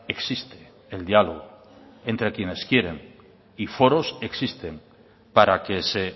existe el diálogo entre quienes quieren y foros existen para que se